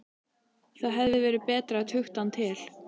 Það hefði verið betra að tukta hann til.